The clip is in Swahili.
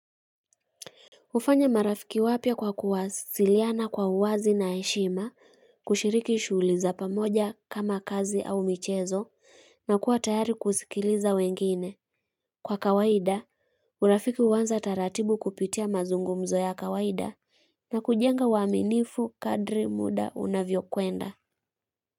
Hufanya marafiki wapya kwa kuwasiliana kwa uwazi na heshima, kushiriki shughuli za pamoja kama kazi au michezo, na kuwa tayari kusikiliza wengine. Kwa kawaida, urafiki huanza taratibu kupitia mazungumzo ya kawaida na kujenga uaminifu kadri muda unavyokwenda.